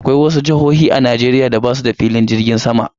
Akwai wasu jihohi a Najeriya da basuda filin jirgin sama